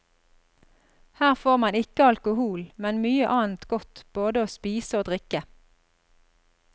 Her får man ikke alkohol, men mye annet godt både å spise og drikke.